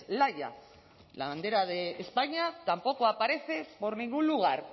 laya la bandera de españa tampoco aparece por ningún lugar